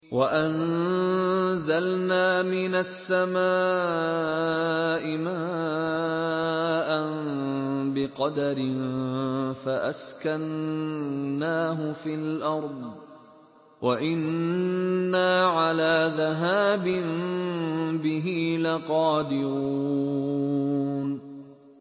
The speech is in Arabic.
وَأَنزَلْنَا مِنَ السَّمَاءِ مَاءً بِقَدَرٍ فَأَسْكَنَّاهُ فِي الْأَرْضِ ۖ وَإِنَّا عَلَىٰ ذَهَابٍ بِهِ لَقَادِرُونَ